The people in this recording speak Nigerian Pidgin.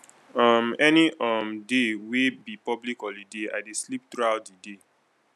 um any um day wey be public holiday i dey sleep throughout di day